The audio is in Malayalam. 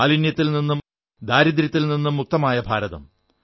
മാലിന്യത്തിൽ നിന്നും ദാരിദ്ര്യത്തിൽ നിന്നും മുക്തമായ ഭാരതം